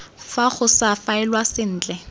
fa go sa faelwa sentle